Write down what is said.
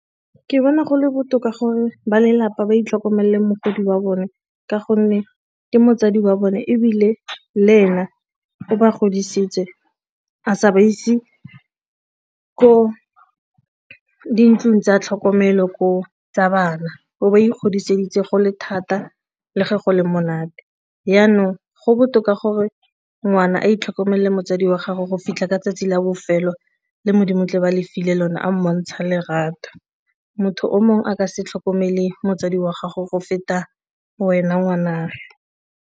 Ke bona go le botoka gore ba lelapa ba itlhokomele mogodi wa bone ka gonne ke motsadi wa bone ebile le ena o ba godisitse a sa ba ise ko dintlong tsa tlhokomelo ko tsa bana, o ba ikgodiseditse go le thata le ge go le monate. Jaanong go botoka gore ngwana a ditlhoko male motsadi wa gago go fitlha ka tsatsi la bofelo le Modimo tla ba a le file lone a mmontsha lerato. Motho o mongwe a ka se tlhokomele motsadi wa gago go feta wena ngwana.